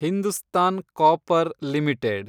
Hindustan copper limited